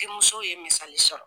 Denmusow ye misali sɔrɔ.